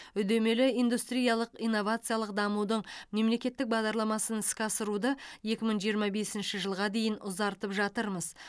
үдемелі индустриялық инновациялық дамудың мемлекеттік бағдарламасын іске асыруды екі мың жиырма бесінші жылға дейін ұзартып жатырмыз